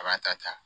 A b'a ta ta